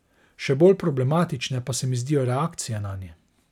Še bolj problematične pa se mi zdijo reakcije nanje.